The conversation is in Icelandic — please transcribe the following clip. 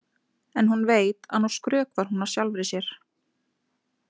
En hún veit að nú skrökvar hún að sjálfri sér.